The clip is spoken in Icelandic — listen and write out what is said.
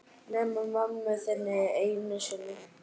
Nema mömmu þinni einu sinni.